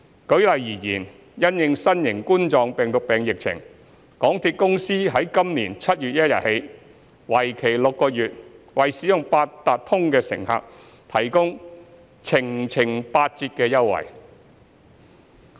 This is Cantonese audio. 舉例而言，因應新型冠狀病毒疫情，港鐵公司由今年7月1日起計的6個月內，為使用八達通的乘客提供"程程八折"等優惠。